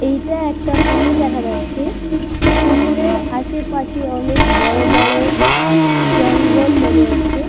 এইটা একটা পুকুর দেখা যাচ্ছে পুকুরের আশেপাশে অনেক বড় বড় জঙ্গল মনে হচ্ছে--